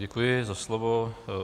Děkuji za slovo.